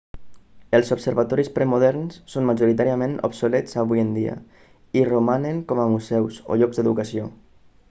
els observatoris premoderns són majoritàriament obsolets avui en dia i romanen com a museus o llocs d'educació